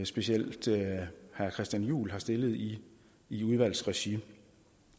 specielt herre christian juhl har stillet i i udvalgsregi